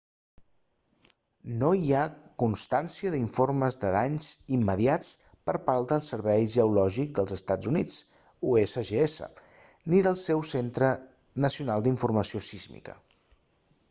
no hi ha constància d'informes de danys immediats per part del servei geològic dels estats units usgs ni del seu centre nacional d'informació sísmica